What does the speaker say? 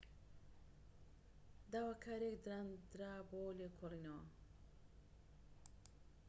داواکاریەك دانرا بۆ لێکۆڵینەوە